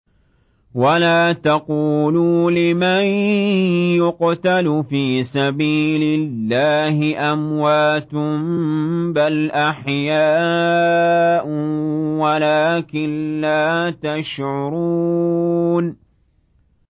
وَلَا تَقُولُوا لِمَن يُقْتَلُ فِي سَبِيلِ اللَّهِ أَمْوَاتٌ ۚ بَلْ أَحْيَاءٌ وَلَٰكِن لَّا تَشْعُرُونَ